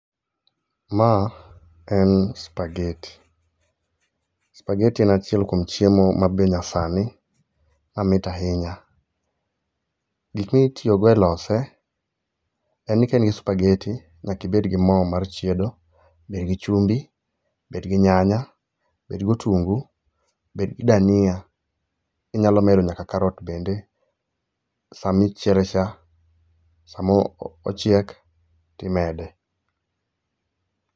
Ma en spageti. Spageti en achiel kuon chiemo ma be nyasani mamit ahinya. Gik mitiyogo e lose, en ni ka in gi spageti, nyaka ibed gi mo mar chiedo, bed gi chumbi, bed gi nyanya, bed go otungu, bed gi dania. Inyalo medo nyaka karat bende samichiele cha. Samochiek timede.